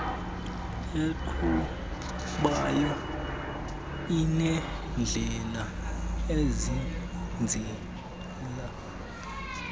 eqhubayo inendlela ezenzela